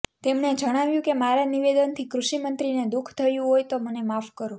તેમણે જણાવ્યુ કે મારા નિવેદનથી કૃષિમંત્રીને દુઃખ થયું હોય તો મને માફ કરો